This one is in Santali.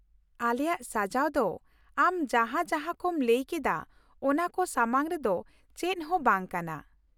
ᱟᱞᱮᱭᱟᱜ ᱥᱟᱡᱟᱣ ᱫᱚ ᱟᱢ ᱡᱟᱦᱟᱸ ᱡᱟᱦᱟᱸ ᱠᱚᱢ ᱞᱟᱹᱭ ᱠᱮᱫᱟ ᱚᱱᱟ ᱠᱚ ᱥᱟᱢᱟᱝ ᱨᱮᱫᱚ ᱪᱮᱫ ᱦᱚᱸ ᱵᱟᱝ ᱠᱟᱱᱟ ᱾